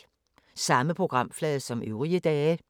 Samme programflade som øvrige dage